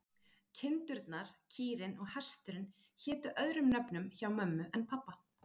Kindurnar, kýrin og hesturinn hétu öðrum nöfnum hjá mömmu en pabba.